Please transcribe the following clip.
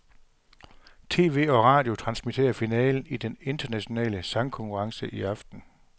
Tv og radio transmitterer finalen i den internationale sangerkonkurrence i aften.